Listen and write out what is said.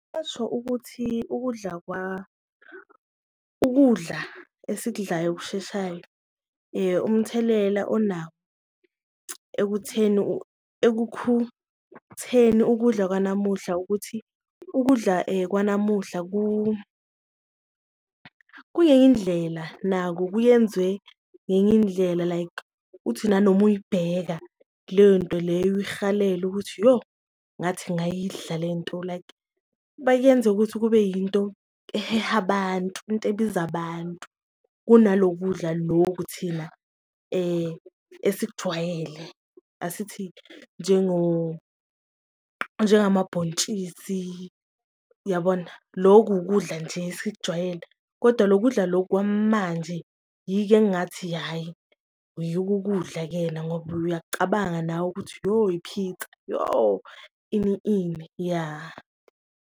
Ngasho ukuthi ukudla ukudla esikudlayo okusheshayo umthelela onawo ekutheni ekukhutheni ukudla kwanamuhla, ukudla kwanamuhla kungenye indlela nako kuyenziwe ngenye indlela like uthi nanoma uyibheka leyo nto leyo, uyihalele ukuthi, yoh ngathi ngayidla le nto. Like bakuyenzeka ukuthi kube yinto eheha abantu into ebiza abantu kunalokudla lokhu thina esikujwayele, asithi njengamabhontshisi yabona loku ukudla nje esikujwayele. Kodwa lokudla lokhu kwamanje yiko engathi hhayi yiko ukudla-ke na ngoba uyakucabanga nawe ukuthi yo i-pizza yoh, ini ini, ya.